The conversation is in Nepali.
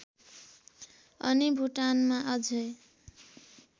अनि भुटानमा अझै